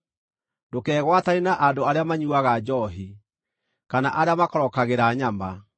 Ndũkegwatanie na andũ arĩa manyuuaga njoohi, kana arĩa makorokagĩra nyama,